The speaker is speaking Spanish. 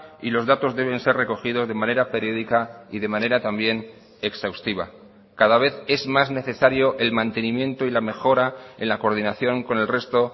y los datos deben ser recogidos de manera periódica y de manera también exhaustiva cada vez es más necesario el mantenimiento y la mejora en la coordinación con el resto